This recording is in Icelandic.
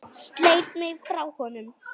Sleit mig frá honum.